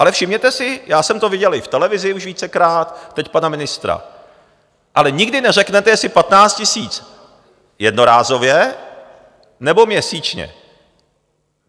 Ale všimněte si, já jsem to viděl i v televizi už vícekrát, teď pana ministra - ale nikdy neřeknete, jestli 15 000 jednorázově, nebo měsíčně.